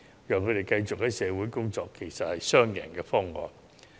所以，讓他們繼續工作，實在是雙贏的方案。